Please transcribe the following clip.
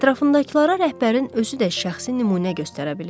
Ətrafındakılara rəhbərin özü də şəxsi nümunə göstərə bilirdi.